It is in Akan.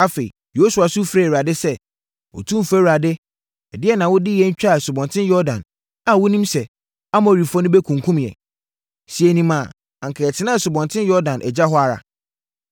Afei, Yosua su frɛɛ Awurade sɛ, “Otumfoɔ Awurade, adɛn na wode yɛn twaa Asubɔnten Yordan a wonim sɛ Amorifoɔ no bɛkunkum yɛn? Sɛ yɛnim a, anka yɛtenaa Asubɔnten Yordan agya hɔ ara.